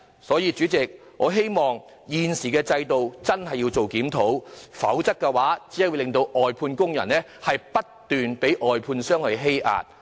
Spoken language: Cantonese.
代理主席，我希望政府真的會檢討現行制度，否則外判工人只會不斷被外判商欺壓。